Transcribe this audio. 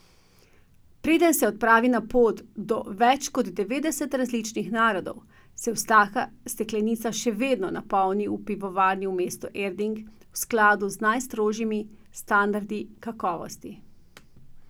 Preden se odpravi na pot do več kot devetdeset različnih narodov, se vsaka steklenica še vedno napolni v pivovarni v mestu Erding v skladu z najstrožjimi standardi kakovosti.